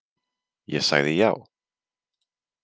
Ég sagði já.